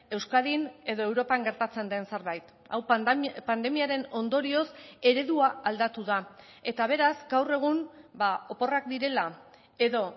euskadin edo europan gertatzen den zerbait hau pandemiaren ondorioz eredua aldatu da eta beraz gaur egun oporrak direla edo